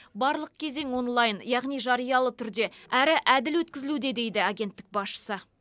барлық кезең онлайн яғни жариялы түрде әрі әділ өткізілуде дейді агенттік басшысы